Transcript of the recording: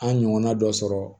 An ɲɔgɔnna dɔ sɔrɔ